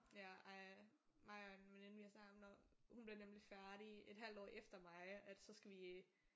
Ja ej. Mig og en veninde vi har snakket om når hun bliver nemlig færdig et halvt år efter mig at så skal vi